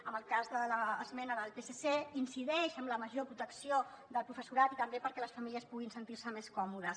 en el cas de l’esmena del psc incideix en la major protecció del professorat i també perquè les famílies puguin sentir se més còmodes